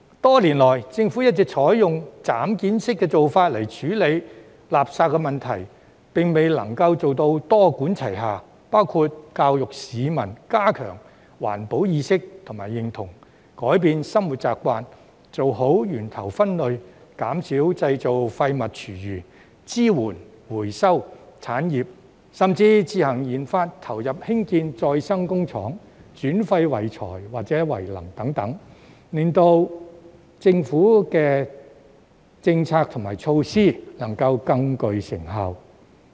多年來，政府一直採用"斬件式"的做法來處理垃圾問題，並未能夠做到多管齊下，包括教育市民加強環保意識及認同，改變生活習慣，做好源頭分類，減少製造廢物、廚餘；支援回收產業，甚至自行研發投入興建再生工廠，轉廢為材或為能等，令政府的政策和措施更具成效。